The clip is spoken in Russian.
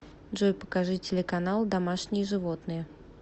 джой покажи телеканал домашние животные